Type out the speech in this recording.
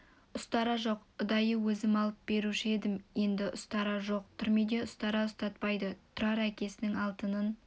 ұстара жоқ ұдайы өзім алып беруші едім енді ұстара жоқ түрмеде ұстара ұстатпайды тұрар әкесінің алатынын